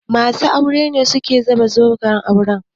Masu aure ne suke saka zoben aure.